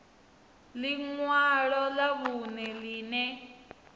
ḽi ṅwalo ḽa vhuṋe ḽine